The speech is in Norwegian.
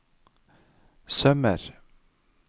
sømmer